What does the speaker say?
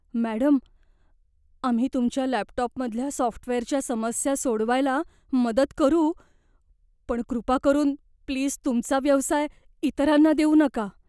Madam, आम्ही तुमच्या laptop मधल्या सॉफ्टवेअरच्या समस्या सोडवायला मदत करू पण कृपा करून, प्लीज तुमचा व्यवसाय इतरांना देऊ नका.